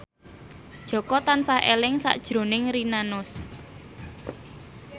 Jaka tansah eling sakjroning Rina Nose